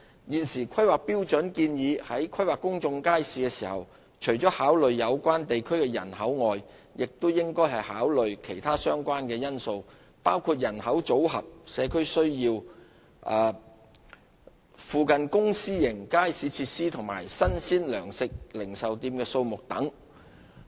現時《規劃標準》建議在規劃公眾街市時，除考慮有關地區的人口外，亦應考慮其他相關因素，包括人口組合、社區需要、附近公私營街市設施及新鮮糧食零售店的數目等。